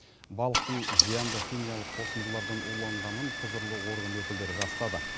балықтың зиянды химиялық қосындылардан уланғанын құзырлы орган өкілдері растады